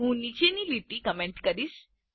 હું નીચેની લીટીઓ કમેન્ટ કરીશ